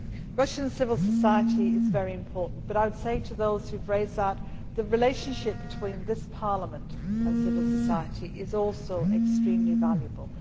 Russian civil society is very important, but I would say to those who have raised this issue that the relationship between this Parliament and civil society is also extremely valuable.